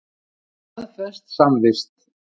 Staðfest samvist.